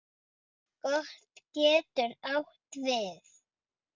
Kot getur átt við